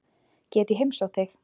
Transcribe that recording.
Get ég heimsótt þig?